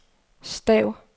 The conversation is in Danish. stav